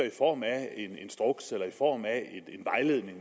i form af en instruks eller i form af en vejledning